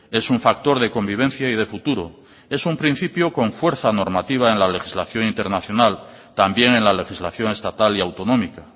es un factor de convivencia y de futuro es un principio con fuerza normativa en la legislación internacional también en la legislación estatal y autonómica